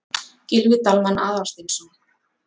Gylfi Dalmann Aðalsteinsson.